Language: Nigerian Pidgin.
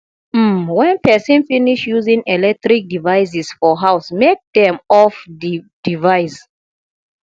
um when person finish using electric devices for house make dem off di device